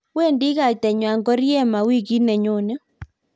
wendi kaitangwany Koriema wikit ne nyone